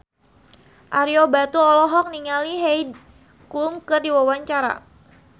Ario Batu olohok ningali Heidi Klum keur diwawancara